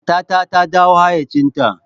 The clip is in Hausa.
Matar ta dawo hayyacinta.